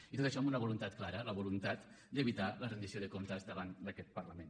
i tot això amb una voluntat clara la voluntat d’evitar la rendició de comptes davant d’aquest parlament